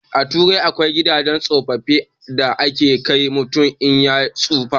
A turai akwai gidan tsofaffi da ake kai mutum in ya tsufa